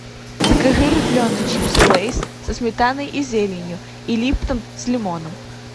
закажи рифленые чипсы лейс со сметаной и зеленью и липтон с лимоном